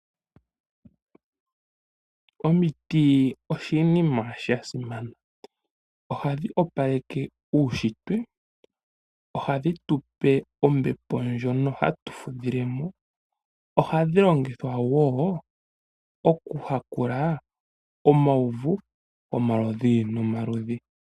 Omiti oshinima shasimana , ohadhi opaleke uushitwe, ohadhitupe ombepo ndjono hatufudhilemo, ohadhilongitha wo okuhakula omawuvu ngomaludhi nomaludhi.